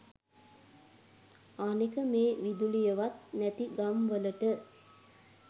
අනෙක මේ විදුලියවත් නැති ගම් වලට